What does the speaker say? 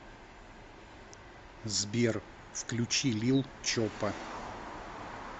сбер включи лил чопа